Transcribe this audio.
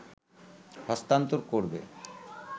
হস্তান্তর করবে